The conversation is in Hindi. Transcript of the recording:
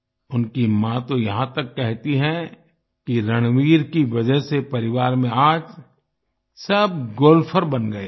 उनकी माँ तो यहाँ तक कहती हैं कि परिवार में आज सब गोल्फर बन गए हैं